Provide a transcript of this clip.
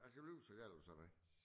Jeg kan blive så gal over sådan noget